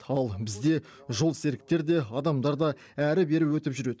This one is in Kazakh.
ал бізде жолсеріктер де адамдар да әрі бері өтіп жүреді